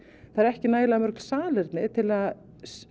það eru ekki nægilega mörg salerni til að